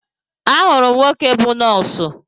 Ahụrụ m nwoke bụ nọọsụ